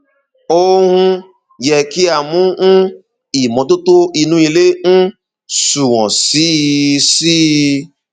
ó um yẹ kí a mú um ìmọtótó inú ilé um sunwọn sí i sí i